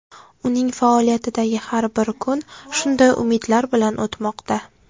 Uning faoliyatidagi har bir kun shunday umidlar bilan o‘tmoqda.